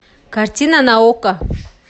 картина на окко